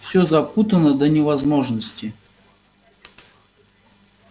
все запутано до невозможности